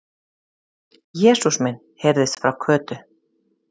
Jesús minn! heyrðist frá Kötu.